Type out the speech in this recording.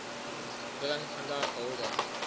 bring vandag hulde